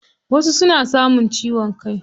Wasu suna samun ciwon kai.